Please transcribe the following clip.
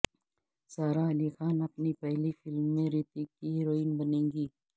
سارہ علی خان اپنی پہلی فلم میں رتک کی ہیروئین بنیں گی